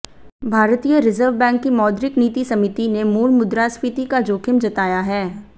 भारतीय reserve bank की मौद्रिक नीति समिति ने मूल मुद्रास्फीति का जोखिम जताया है